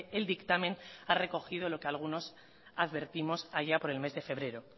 el dictamen ha recogido lo que algunos advertimos allá por el mes de febrero